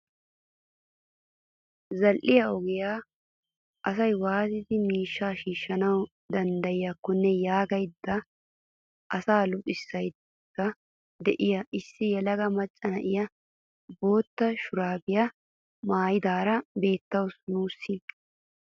Zal"iyaa ogiyaa asaa waatidi miishshaa shiishshanawu danddayiyaakonne yaagada asaa luxxisaydda de'iyaa issi yelaga macca na'iyaa bootta shuraabiyaa maayidaara beettawus nuusi.